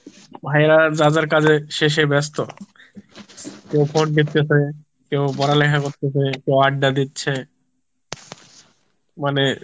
ভাইয়ারা যার যার কাজে সে সে ব্যাস্ত, কেউ ফোন দেকতেসে, কেউ পড়ালেখা করতেসে, কেউ আড্ডা দিচ্ছে মানে